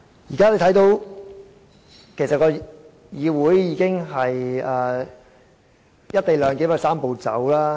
現在大家可以看到，議會已遵行"一地兩檢"的"三步走"程序。